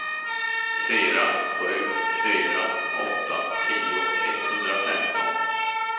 fyra sju fyra åtta tio etthundrafemton